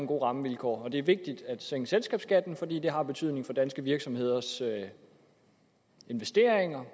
gode rammevilkår og at det er vigtigt at sænke selskabsskatten fordi det har betydning for danske virksomheders investeringer